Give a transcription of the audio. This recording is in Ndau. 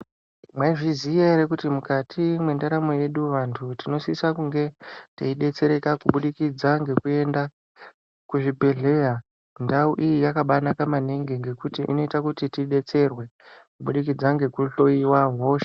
Mwaizviziya ere kuti mukati mwendaramo yedu vantu tinosisa kunge teibetsereka kubudikidza ngekuenda kuzvibhedhlera ndau iyi yakabanaka maningi ngekuti inoita kuti tibetserwe kubudikidza ngekuhloyiwa hosha.